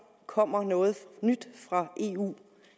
kommer noget nyt fra eu